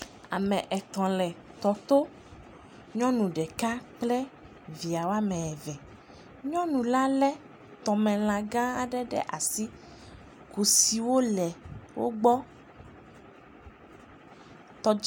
Ame etɔ̃ le tɔ to. Nyɔnu ɖeka kple via wo ame eve. Nyɔnu la lé tɔmela gã aɖe ɖe asi. Kusiwo le wogbɔ.